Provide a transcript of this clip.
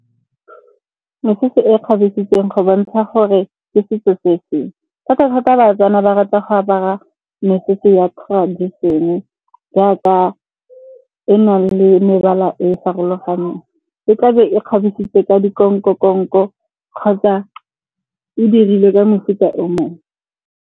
Mesese e kgabesitsweng go bontsha gore ke setso se feng. Thata-thata Batswana ba rata go apara mesese ya tradition-e jaaka e nang le mebala e e farologaneng. E tla be e kgabisitswe ka kgotsa e dirilwe ka mefuta o mongwe.